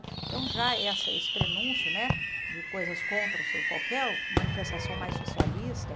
Então já essa esse prenúncio né de coisas contra qualquer manifestação mais socialista.